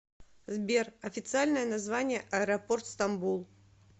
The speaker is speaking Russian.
сбер официальное название аэропорт стамбул